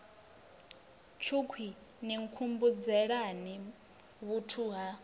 tshukhwii ni nkhumbudzelani vhuthu ha